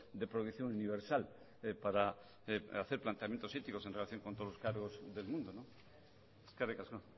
de proyección universal para hacer planteamientos éticos en relación con todos los cargos del mundo eskerrik asko